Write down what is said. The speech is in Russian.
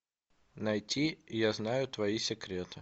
найти я знаю твои секреты